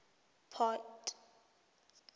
port